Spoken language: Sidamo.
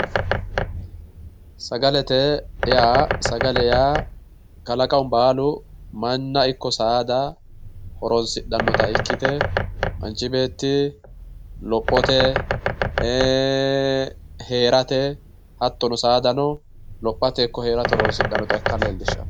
Sagalete yaa sagale yaa kalaqamu ballu mana ikko saada horonsidhanota ikite manchi beetti lophote eee herate hattono saadano lophaye ikko heerate horosidhanota ika lelishawo